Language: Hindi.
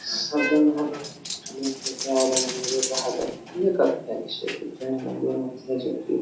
सामने में कहा जाता है ये काफी अच्छे दिखरे --